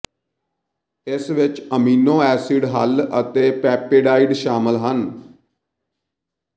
ਇਸ ਵਿੱਚ amino acid ਹੱਲ ਅਤੇ ਪੇਪੇਡਾਈਡ ਸ਼ਾਮਲ ਹਨ